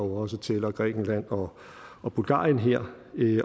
jo også tæller grækenland og og bulgarien her